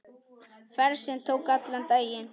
Ferð sem tók allan daginn.